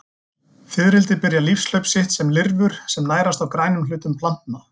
Fiðrildi byrja lífshlaup sitt sem lirfur sem nærast á grænum hlutum plantna.